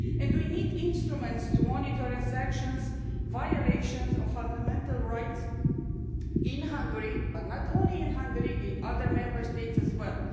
We need instruments to monitor infractions and violations of fundamental rights in Hungary, but not only in Hungary, in other Member States as well.